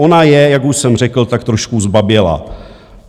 Ona je, jak už jsem řekl, tak trošku zbabělá.